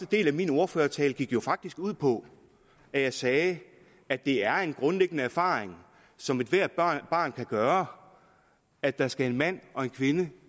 del af min ordførertale gik jo faktisk ud på at jeg sagde at det er en grundlæggende erfaring som ethvert barn barn kan gøre at der skal en mand og en kvinde